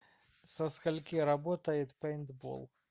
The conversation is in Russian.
со скольки работает пейнтбол